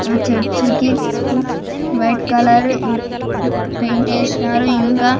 మా చర్చు కి ఉం వైట్ కలరు ఉం పెయింట్ ఏసినారు ఇంకా --